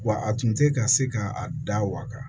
Wa a tun tɛ ka se ka a da waga